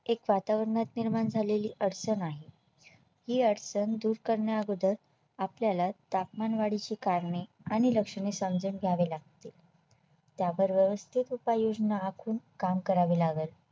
एक वातावरण निर्माण झालेली अडचण आहे ही अडचण दूर करण्याअगोदर आपल्याला तापमानवाढी ची कारणे आणि लक्षणे समजून घ्यावे लागतील त्याबरोबरच उपाययोजना आखून काम करावे लागल